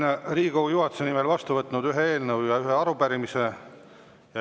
Olen Riigikogu juhatuse nimel vastu võtnud ühe eelnõu ja ühe arupärimise.